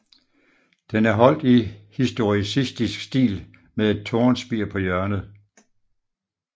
Den er holdt i historicistisk stil med et tårnspir på hjørnet